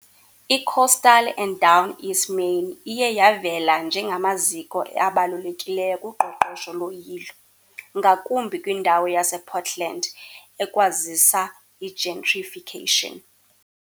I-Coastal and Down East Maine iye yavela njengamaziko abalulekileyo kuqoqosho loyilo, ngakumbi kwindawo yasePortland, ekwazisa i-gentrification .